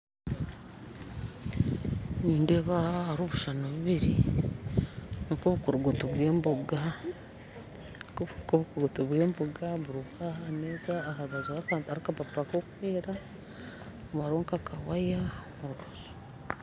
Nindeeba aha hariho obushushani bubiri nkobukurugutu bw'emboga nkobukurugutu bw'emboga mbureba aha ahameeza aharubaju hariho akapapura kokwera ndebaho nk'akawaya